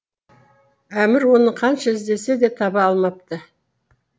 әмір оны қанша іздесе де таба алмапты